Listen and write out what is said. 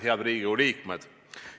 Head Riigikogu liikmed!